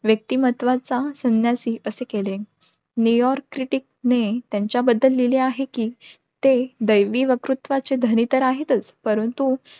व्यक्तिमत्वाचा संन्यासी असे केले. new york critic ने त्यांच्या बद्दल लिहले आहे कि, ते दैवी वक्तृत्वाचे धनी तर आहेतच परंतु,